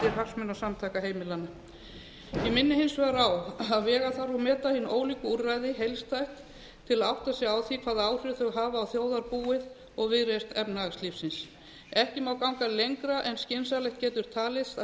hagsmunasamtaka heimilanna ég minni hins vegar á að vega þarf og meta þau ólíku úrræði heildstæð til að átta sig á því hvaða áhrif þau hafa á þjóðarbúið og viðreisn efnahagslífsins ekki má ganga lengra en skynsamlegt getur talist að